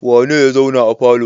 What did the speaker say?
Wane ne ya zauna a falo?